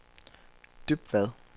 Dybvad